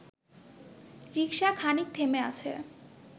রিক্সা খানিক থেমে আছে